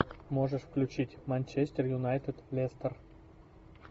можешь включить манчестер юнайтед лестер